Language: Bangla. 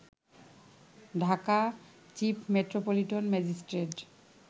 Dhaka chief metropolitan magistrate